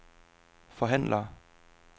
forhandler